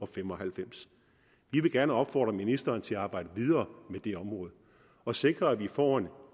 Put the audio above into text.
fem og halvfems vi vil gerne opfordre ministeren til at arbejde videre med det område og sikre at vi får en